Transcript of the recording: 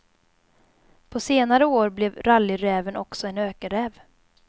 På senare år blev rallyräven också en ökenräv.